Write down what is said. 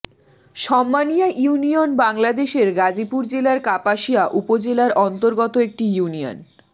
সন্মানিয়া union বাংলাদেশের গাজীপুর জেলার কাপাসিয়া উপজেলার অন্তর্গত একটি ইউনিয়ন